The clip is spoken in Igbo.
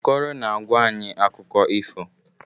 Okoro na-agwa anyị akụkọ ifo.